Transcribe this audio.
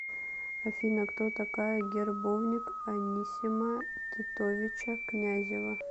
афина кто такая гербовник анисима титовича князева